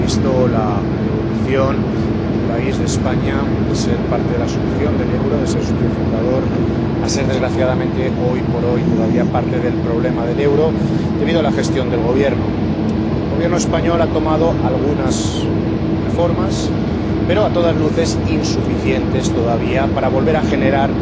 Ha visto la evolución de mi país, de España, de ser parte de la solución del euro, de ser socio fundador, a ser, desgraciadamente, hoy por hoy, todavía parte del problema del euro, debido a la gestión del gobierno. El Gobierno español ha realizado algunas reformas, pero a todas luces insuficientes todavía para volver a generar